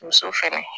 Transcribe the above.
Muso fɛnɛ